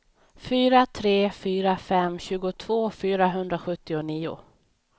fyra tre fyra fem tjugotvå fyrahundrasjuttionio